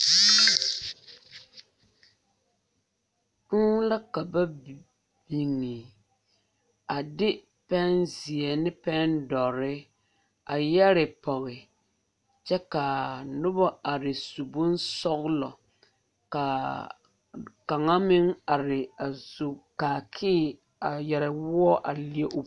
Kūū la ka ba biŋe a de pɛnzeɛ ne pɛndɔre a yɛre pɔge kyɛ ka a noba are su boŋ sɔglo ka a kaŋa meŋ are a su kaakee a yɛre woɔ a leɛ o.